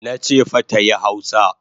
Nache fa tayi hausa!